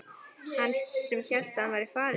Hann sem hélt að hann væri farinn!